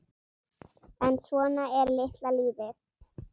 En svona er litla lífið.